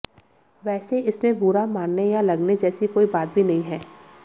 वैसे इसमें बुरा मानने या लगने जैसी कोई बात भी नहीं है